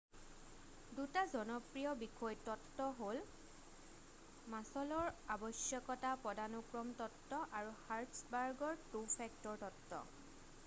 2টা জনপ্ৰিয় বিষয় তত্ত্ব হ'ল মাছল'ৰ আৱশ্যকতা পদানুক্ৰম তত্ত্ব আৰু হাৰ্টছবাৰ্গৰ 2 ফেক্টৰ তত্ত্ব